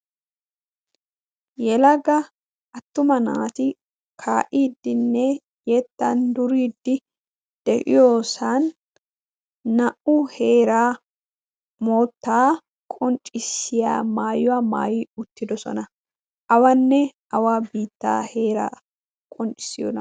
yelagga attuma naati kaa'iiddinne yeettan duriidi de'iyoosan naa'u heeraa moottaa qonccissiya maayuwaa maayi uttidosona. awanne awa biittaa heeraa qonccissiyoona?